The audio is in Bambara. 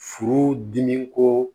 Furu dimi ko